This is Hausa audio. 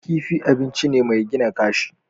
Kifi abinci ne mai gina kashi.